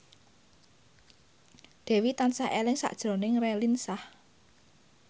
Dewi tansah eling sakjroning Raline Shah